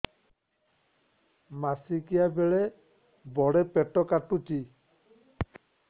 ମାସିକିଆ ବେଳେ ବଡେ ପେଟ କାଟୁଚି